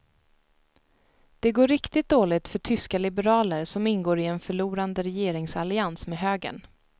Det går riktigt dåligt för tyska liberaler som ingår i en förlorande regeringsallians med högern.